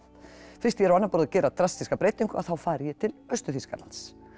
fyrst ég er á annað borð að gera drastískar breytingu að þá fari ég til Austur Þýskaland